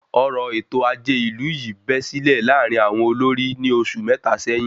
Ọ̀rọ èto ajé ìlú yìí bẹ́ sílẹ̀ láàárín àwọn olórí ní oṣù mẹta sẹ́yín